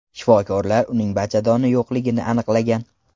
Shifokorlar uning bachadoni yo‘qligini aniqlagan.